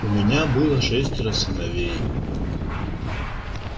у меня было шестеро сыновей